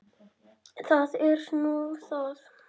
Það er nú það?